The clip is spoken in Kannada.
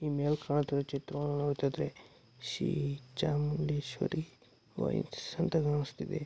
ಈ ಮೇಲೆ ಕಾಣುತ್ತಿರುವ ಚಿತ್ರವನ್ನು ನೋಡ್ತಿದ್ರೆ ಶೀ ಚಾಮುಂಡೇಶ್ವವರಿ ವೈಟ್ಸ್ ಅಂತ ಕಾಣಸ್ತಿದೆ.